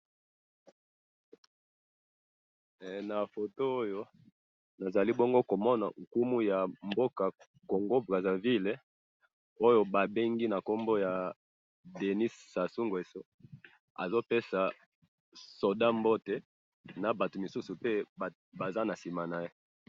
Awa na moni mokonzi ya mboka Congo-Brazzaville, azo pesa mbote na Soldat, na ba mususu batelemi bazo tala.